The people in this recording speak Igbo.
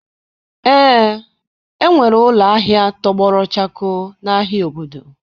Ee, enwere ụlọ ahịa tọgbọrọ chakoo n'ahịa obodo.